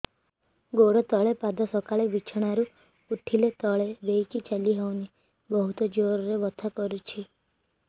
ଗୋଡ ତଳି ପାଦ ସକାଳେ ବିଛଣା ରୁ ଉଠିଲେ ତଳେ ଦେଇକି ଚାଲିହଉନି ବହୁତ ଜୋର ରେ ବଥା କରୁଛି